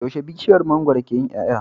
Yaushe bishiyar mangwaro ke yin yaya